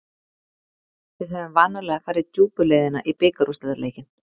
Við höfum vanalega farið djúpu leiðina í bikarúrslitaleikinn.